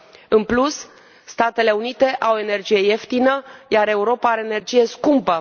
În plus, Statele Unite au energie ieftină, iar Europa are energie scumpă.